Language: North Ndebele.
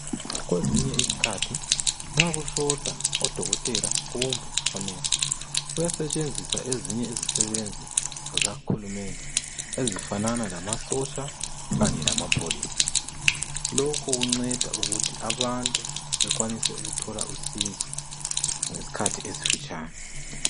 Kwezinye izikhathi nxa kushota odokotela kumbe o nurse kuyasetsenziswa ezinye izisebenzi zikahulumende ezifanana lama sotsha kanye lamapholisa loku kunceda ukuthi abantu bekwanise ukuthola usizo ngesikhathi esifitshane